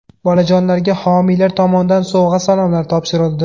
Bolajonlarga homiylar tomonidan sovg‘a-salomlar topshirildi.